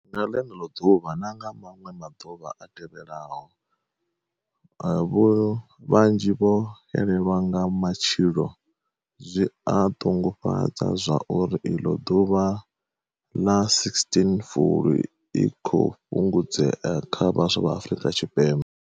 Nga ḽeneḽo ḓuvha na nga maṅwe maḓuvha a tevhelaho, vhanzhi vho xelelwa nga matshilo. Zwi a ṱungufhadza zwa uri iḽo ḓuvha ḽa16 fulwi i khou fhungudzea kha vhaswa vha Afrika Tshipembe.